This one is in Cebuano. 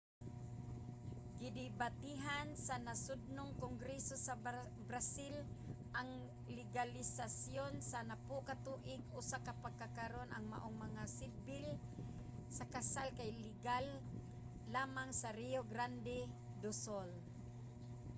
gidebatehan sa nasodnong kongreso sa brazil ang legalisasiyon sa 10 ka tuig ug sa pagkakaron ang maong mga sibil nga kasal kay legal lamang sa rio grande do sul